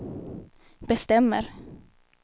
bestämmer